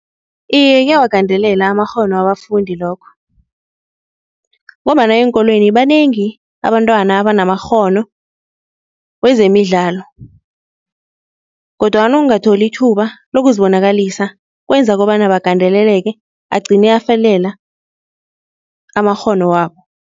Iye kuyawagandelela amakghono wabafundi lokho ngombana eenkolweni banengi abantwana abanamakghono wezemidlalo kodwana ukungatholi ithuba lokuzibonakalisa kwenza kobana bagandeleleke agcine afelela amakghono wabo.